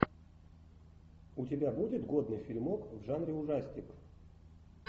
у тебя будет годный фильмок в жанре ужастик